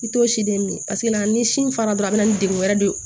I t'o si den min paseke ni sin fara dɔrɔn a bɛ na ni degun wɛrɛ de ye